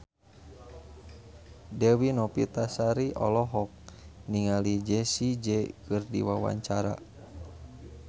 Dewi Novitasari olohok ningali Jessie J keur diwawancara